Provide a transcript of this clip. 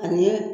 Ani